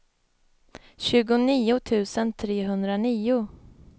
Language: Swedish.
tjugonio tusen trehundranio